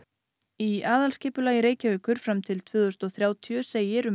í aðalskipulagi Reykjavíkur fram til tvö þúsund og þrjátíu segir um